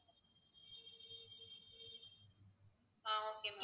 ah okay ma'am